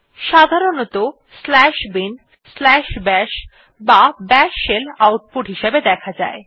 সাধারণতঃ binbash বা bash shell output হিসাবে দেখা যায়